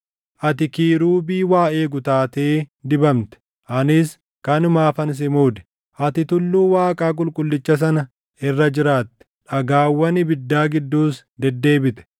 Ati Kiirubii waa eegu taatee dibamte; anis kanumaafan si muude. Ati tulluu Waaqaa qulqullicha sana irra jiraatte; dhagaawwan ibiddaa gidduus deddeebite.